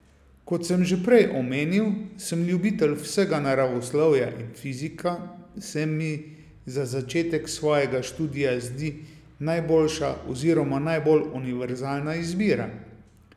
Kot sem že prej omenil, sem ljubitelj vsega naravoslovja in fizika se mi za začetek svojega študija zdi najboljša oziroma najbolj univerzalna izbira.